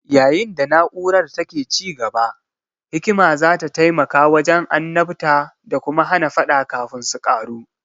Yayin da na'urar take ci gaba, hikima za ta taimaka wajen annabta da kuma hana faɗa kafin su ƙaru.